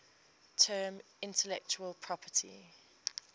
term intellectual property